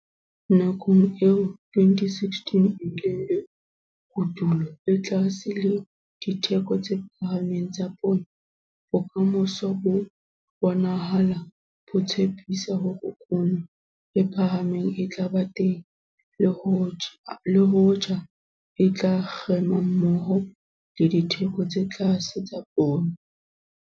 Nakong eo 2016 e bileng le kotulo e tlase le ditheko tse phahameng tsa poone, bokamoso bo bonahala bo tshepisa hore kuno e phahameng e tla ba teng le hoja e tla kgema mmoho le ditheko tse tlase tsa poone.